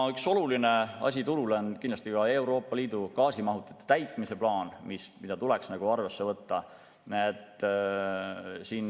Üks oluline asi turul on kindlasti ka Euroopa Liidu gaasimahutite täitmise plaan, mida tuleks arvesse võtta.